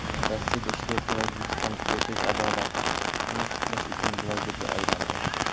Rossiyada ishlayotgan o‘zbekistonlik erkak adolatni tiklash uchun blogerga aylandi.